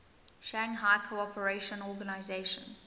shanghai cooperation organization